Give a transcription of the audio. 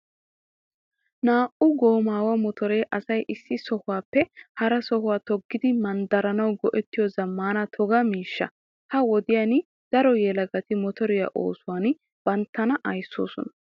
Naa'u goomaawa motoree asay issi sohuwaappe hara sohuwaa toggidi manddaranawu go'ettiyo zammaana toga miishsha. Ha wodiyan daro yelagati motoriyaa oosuwan banttana ayssoosona.